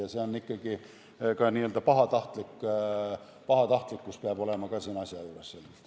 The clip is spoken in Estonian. Ja ka n-ö pahatahtlikkus peab olema siin asja juures.